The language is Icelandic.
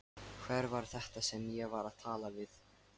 Hver var þetta sem ég var að tala við?